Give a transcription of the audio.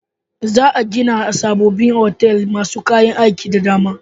Za'a gina sabobbin otal masu kayan aiki da dama.